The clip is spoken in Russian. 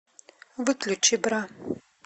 выключи бра